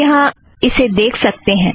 आप यहाँ इसे देख सकतें हैं